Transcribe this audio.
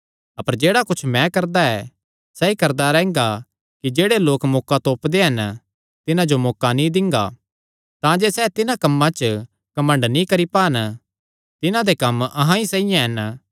अपर जेह्ड़ा कुच्छ मैं करदा ऐ सैई करदा रैंह्गा कि जेह्ड़े लोक मौका तोपदे हन तिन्हां जो मैं मौका नीं दिंदा तांजे सैह़ तिन्हां कम्मां च घमंड नीं करी पान तिन्हां दे कम्म अहां ई साइआं हन